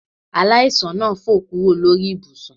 Aláìsàn náà fò kúrò lórí ibùsùn